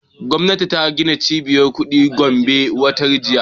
Gwamnati ta gina cibiyar kuɗi a gombe watan jiya